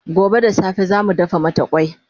gobe da safe zamu dafa mata kwai